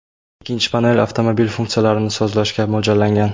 Ikkinchi panel avtomobil funksiyalarini sozlashga mo‘ljallangan.